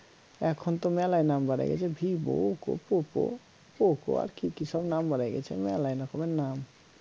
এখন তো মেলাই নাম বারাই গেছে vivo oppo poco আর কি কি সব নাম বার হয়ে গেছে মেলায় রকমের নাম